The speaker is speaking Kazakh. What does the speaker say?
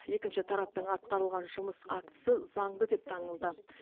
екінші тараптың атқарылған жұмыс актісі заңды деп танылды